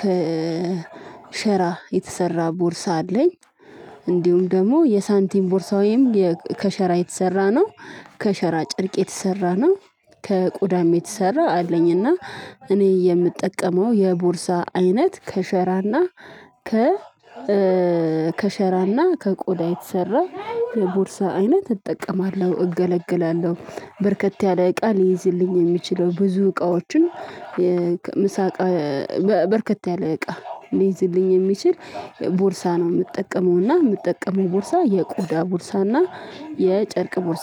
ከሸራ የተሰራ ቦርሳ አለኝ። እንዲሁም ደግሞ የሳንቲም ቦርሳ ወይም ከሸራ የተሰራ ነው ከሸራ ጨርቅ የተሰራ ነው ከቆዳም የተሰራ አለኝ። እና እኔ የምጠቀመው የቦርሳ አይነት ከሸራ እና ከሸራና ከቆዳ የተሰራ የቦርሳ አይነት እጠቀማለሁ እገለግላለሁ። በርከት ያለ እቃ ሊይዝልኝ የሚችለው ብዙ እቃዎችን የምሳ በርከት ያለ እቃ ሊይዝልኝ የሚችል ቦርሳ ነው ምጠቀመው እና ምጠቀመው ቦርሳ የቆዳ ቦርሳና የጨርቅ ቦርሳ